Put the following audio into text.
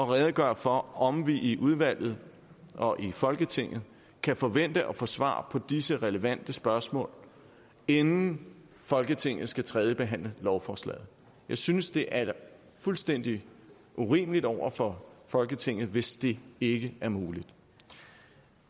redegøre for om vi i udvalget og i folketinget kan forvente at få svar på disse relevante spørgsmål inden folketinget skal tredjebehandle lovforslaget jeg synes at det er fuldstændig urimeligt over for folketinget hvis det ikke er muligt